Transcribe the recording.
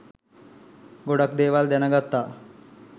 ගොඩක් දේවල් දැනගත්තා.